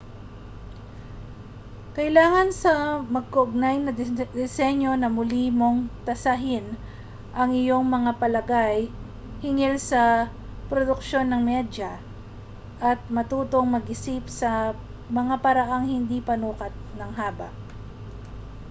kailangan sa magkaugnay na disenyo na muli mong tasahin ang iyong mga palagay hinggil sa produksyon ng medya at matutong mag-isip sa mga paraang hindi panukat ng haba